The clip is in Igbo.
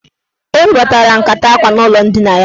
O webatara nkata akwa n'ụlọ ndina ya.